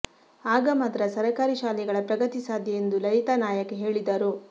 ಆಗ ಮಾತ್ರ ಸರಕಾರಿ ಶಾಲೆಗಳ ಪ್ರಗತಿ ಸಾಧ್ಯ ಎಂದು ಲಲಿತಾ ನಾಯಕ್ ಹೇಳಿದರು